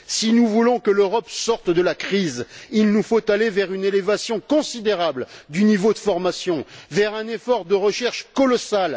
Si nous voulons que l'Europe sorte de la crise, il nous faut aller vers une élévation considérable du niveau de formation, vers un effort de recherche colossal.